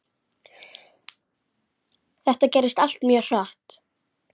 Þetta gerðist allt mjög hratt.